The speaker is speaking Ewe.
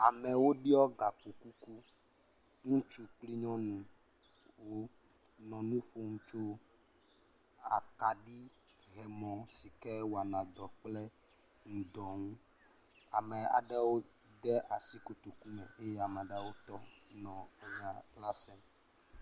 Amewo ɖɔ …